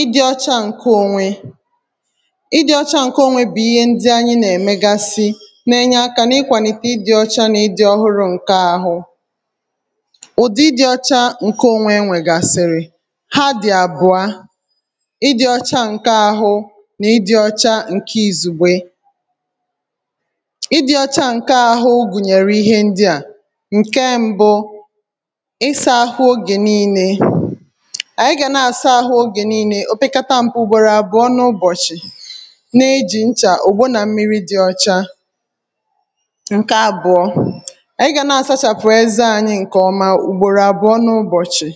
Ị dị ọcha ǹkè onwe, ị dị ọcha ǹkè onwe bụ̀ ihe ndị anyị nà-èmegasị nà-enye aka n’ịkwànịte ị dị̇ ọcha nà ị dị̇ ọhụrụ̇ ǹke ahụ. Ụdị ị dị̇ ọcha ǹkè onwe enwėgàsị̀rị̀ ha dị̀ àbụ̀a: ị dị ọcha ǹke ahụ nà ị dị ọcha ǹkè izugbė. Ị dị ọcha ǹkè ahụ ọ gụnyèrè ihe ndià; ǹke mbụ ịsa ahụ oge niilė, ànyị gà na-àsa ahụ ogè niilė opekata mpe ugbòrò àbụ̀ọ n’ụbọ̀chị̀ na-ejì nchà, ogbo nà mmiri dị̇ ọ̀cha. Nkè àbụ̀ọ ànyị gà na-àsachàpụ̀ eze ànyị ǹkè ọma ùgbòrò àbụ̀ọ n’ụbọ̀chị̀,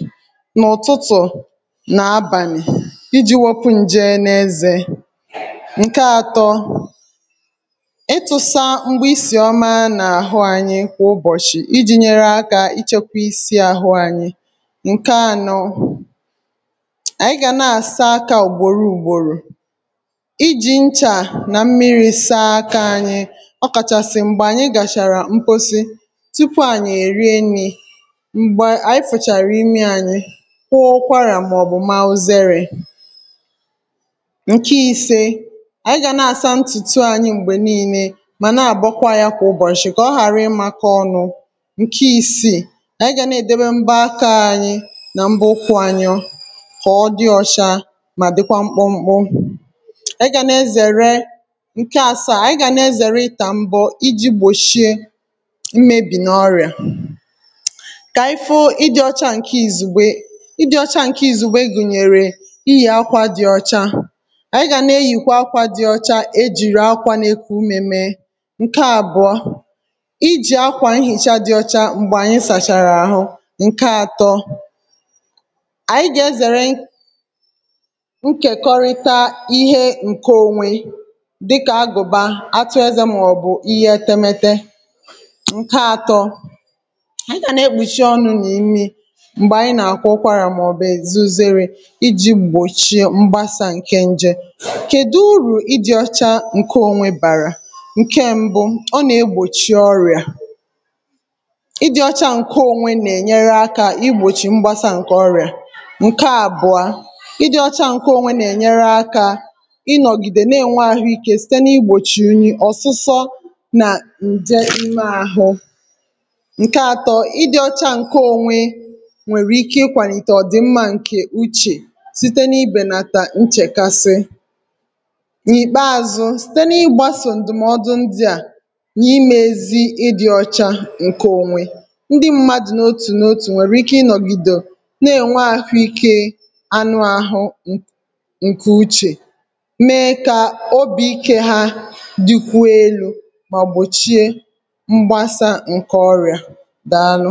n’ụ̀tụtụ̀ nà abànị̀ i ji̇ wopu ǹje n’ezè. Nkè atọ̇, ịtụ̇sa mgbe isì ọma n’àhụ anyị kwà ụbọ̀chị̀ i ji̇ nyere aka ịchọkwa isi àhụ anyị. Nkè anọ, ànyị gà na-àsa aka ùgbòro ùgbòrò, i jì nchà nà mmiri̇ saa aka anyị ọ kàchàsị̀ m̀gbè ànyị gàchàrà mposi tupu ànyị èrie nrì, mgbè ànyị fòchàrà imi ȧnyị̇ kwa ọkwarà màọ̀bụ̀ ma uzėrė. Nke ise, ànyị gà na-asa ntùtù ànyị m̀gbè nii̇nė mà na-àbọkwa ya kwà ụbọchị̀ kà ọ ghàra ịmȧkọ ọnụ̇. Nke isiì, ànyị gà na-èdebe mbọ aka ànyị nà mbọ ụkwụ anyị kọ̀ọ dị ọcha mà dịkwa mkpọmkpọ e gà nà-ezère. Nke àsaa, ànyi gà nà-ezère ità m̀bọ i ji gbòchie mmebì n’ọrịà, kà ịfụ ị dị̇ ọcha ǹke ìzùgbe, ị dị̇ ọcha ǹke ìzùgbe gùnyèrè; ịyi akwȧ dị ọcha, ànyi gà nà-eyìkwa akwȧ dị ọcha ejìrì akwȧ n’eku umè me. Nke àbụọ, i jì akwà nhìcha dị ọcha m̀gbè ànyị sàchàrà àhụ. Nke atọ, anyi ga-ezere ǹkèkọrịta ihe ǹke onwe dịkà agụ̀bà, atụ ezė màọbụ̀ ihe etemete. Nke atọ, anyị gà-àna-ekpùchi ọnụ̇ nà imi m̀gbè ànyị nà-àkwụkwara màọbụ̇ èzu zere i ji̇ gbòchie mgbasà ǹke nje. Kèdu urù ịdị̇ ọcha ǹke onwe bàrà? Nke mbụ̇, ọ nà-egbòchi ọrịà. Ị dị̇ ọcha ǹke onwe nà-ènyere aka igbòchi mgbasa ǹke ọrịà. Nke abua, ị di̇ ọcha ǹke onwe nà-ènyere akȧ ịnọ̀gìdè na-ènwe àhụikė site na-igbòchi unyi, ọ̀sụsọ nà ǹje mmeȧhụ. Nke atọ, ị dị̇ ọcha ǹke onwe nwèrè ike ikwàlìtè ọ̀dị̀ mmȧ ǹkè uchè site n’ibènàtà nchèkasị. Mkpeàzụ̇, site n’ịgbàsò ǹdụ̀mọdụ̀ ndị à nà-imėzi̇ ị dị̇ ọcha ǹkè onwe, ndị mmadụ̀ n’otù n’otù nwèrè ike ịnọ̀gìdò na-ènwe àhụikė anụahụ ǹkè uchè, mee kà obì ikė ha dịkwuo elu̇ mà gbòchie mgbasà ǹkè ọrịà dàalụ.